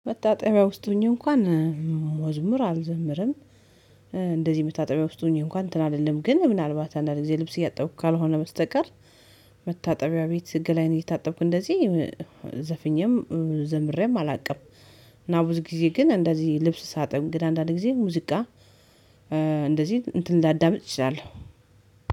መታጠቢያ ውስጥ ሆኜ እንኳን መዝሙር አልዘምርም። እንደዚህ መታጠቢያ ውስጥ ሆኜ እንኳን እንትን አልልም ግን ምናልባት አንዳንድ ጊዜ ልብስ እያጠብኩ ካልሆነ በስተቀር መታጠቢያ ቤት ገላዬን እየታጠብኩ እንደዚህ ዘፊኜም ዘምሬም አላቅም። እና ብዙ ጊዜ ግን እንደዚህ ልብስ ሳጥን እንግድህ አንዳንድ ጊዜ ሙዚቃ እንደዚህ እንትን ላዳምጥ እችላለው።